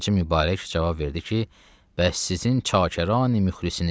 Xacə Mübarək cavab verdi ki, bəs sizin çakaranı müxlisiniz.